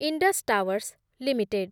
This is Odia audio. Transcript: Indus Towers limited